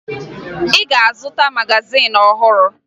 Ị ga-azụta magazin ọhụrụ